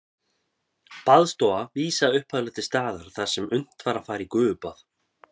Baðstofa vísaði upphaflega til staðar þar sem unnt var að fara í gufubað.